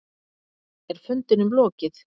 Er fundinum lokið?